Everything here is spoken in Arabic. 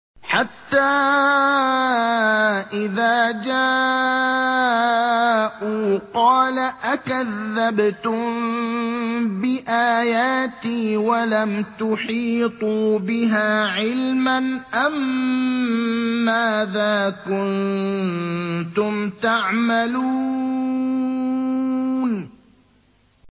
حَتَّىٰ إِذَا جَاءُوا قَالَ أَكَذَّبْتُم بِآيَاتِي وَلَمْ تُحِيطُوا بِهَا عِلْمًا أَمَّاذَا كُنتُمْ تَعْمَلُونَ